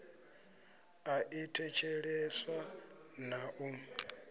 i a thetsheleswa na u